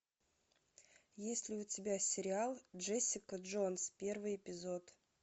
есть ли у тебя сериал джессика джонс первый эпизод